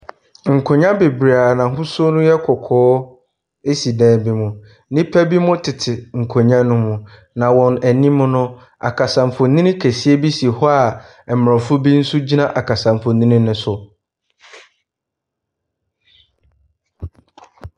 Nkonnwa bebree a n'ahosuo no yɛ kɔkɔɔ si dan bi mu. Nnipa binom tete nkonnwa no mu, na wɔn anim no, akasamfonin kɛseɛ bi si hɔ aborɔfo bi nso gyina akasamfonin no so.